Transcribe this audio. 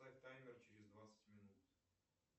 поставь таймер через двадцать минут